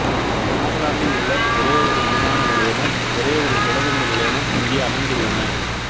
நாகாலாந்தில் உள்ள ஒரே ஒரு விமான நிலையமும் ஒரே ஒரு தொடருந்து நிலையமும் இங்கே அமைந்துள்ளன